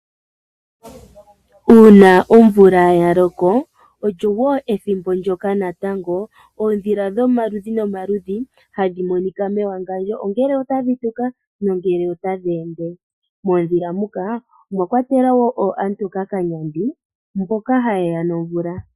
Uuna omvula yaloka olyo wo ethimbo ndjoka natango oondhila dhomaludhi nomaludhi hadhi monika mewangandjo, ongele otadhi nenge tadhi ende. Moondjila muka omwakwatelwa oohamutokakanyandi mboka hayeya nomvula.